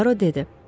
Puaro dedi: